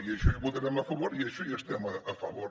i això hi votarem a favor i d’això hi estem a favor